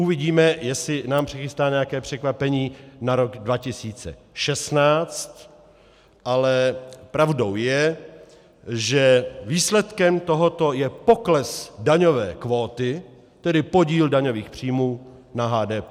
Uvidíme, jestli nám přichystá nějaké překvapení na rok 2016, ale pravdou je, že výsledkem tohoto je pokles daňové kvóty, tedy podíl daňových příjmů na HDP.